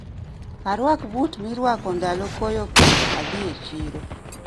Arwak but mirwako ndalo koyo ka adhi e chiro